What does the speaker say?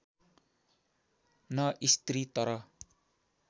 न स्त्री तर